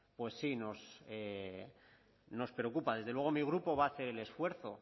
pues sí nos preocupa desde luego mi grupo va a hacer el esfuerzo